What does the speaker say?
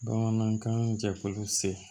Bamanankan jɛkulu se